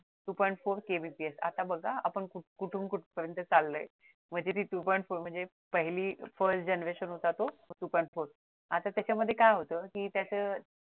two point four KBPS म्हणजे आता बघा हा आपण कुठून कुठ पर्यन्त चाललोय म्हणजे ती two point four म्हणजे ती पहिली first generation होता तो two point four आता त्याच्यामध्ये काय होत कि त्याच